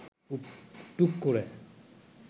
টুক করে